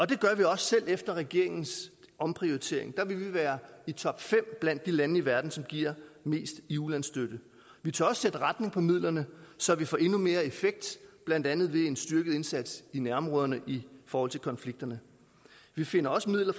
det gør vi også selv efter regeringens omprioritering der vil vi være i topfem blandt de lande i verden som giver mest i ulandsstøtte vi tør også sætte retning for midlerne så vi får endnu mere effekt blandt andet ved en styrket indsats i nærområderne i forhold til konflikterne vi finder også midler